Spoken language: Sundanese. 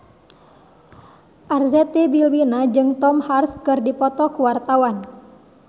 Arzetti Bilbina jeung Tom Hanks keur dipoto ku wartawan